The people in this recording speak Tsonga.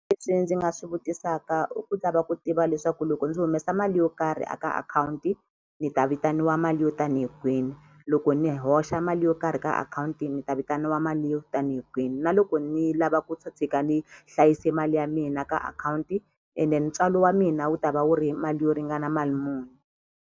Leswi ndzi nga swi vutisaka i ku lava ku tiva leswaku loko ndzi humesa mali yo karhi a ka akhawunti ni ta vitaniwa mali yo tanihi kwini loko ni hoxa mali yo karhi ka akhawunti ni ta vitaniwa mali yo tanihi kwini na loko ni lava ku ta tshika ni hlayise mali ya mina ka akhawunti ene ntswalo wa mina wu ta va wu ri mali yo ringana mali muni.